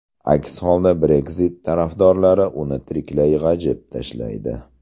Aks holda Brexit tarafdorlari uni tiriklay g‘ajib tashlaydi.